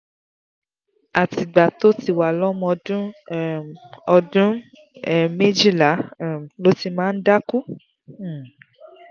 àtìgbà tó ti wà lọ́mọ ọdún um ọdún um méjìlá um ló ti máa ń dákú um